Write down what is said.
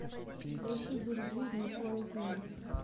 поищи девять жизней хлои кинг